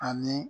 Ani